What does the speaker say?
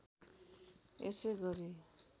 यसै गरी